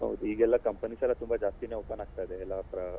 ಹೌದು ಈಗ ಎಲ್ಲ companies ಎಲ್ಲ ತುಂಬಾ ಜಾಸ್ತಿನೇ ಎಲ್ಲ open ಆಗ್ತಿದೆ ಎಲ್ಲ